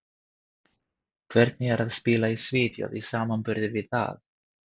Hvernig er að spila í Svíþjóð í samanburði við það?